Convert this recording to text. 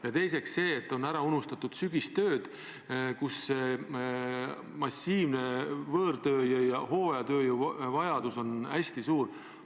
Ja teiseks, ära on unustatud sügistööd, kus massiline võõrtööjõu vajadus on hooajal hästi suur.